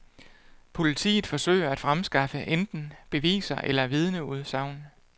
Politiet forsøger at fremskaffe enten beviser eller vidneudsagn.